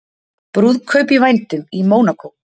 Brúðkaup í vændum í Mónakó